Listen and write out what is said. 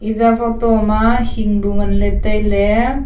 eya photo ma hing bu ngan ley tai ley.